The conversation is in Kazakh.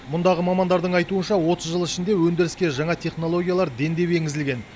мұндағы мамандардың айтуынша отыз жыл ішінде өндіріске жаңа технологиялар дендеп енгізілген